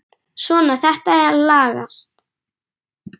Svona, þetta lagast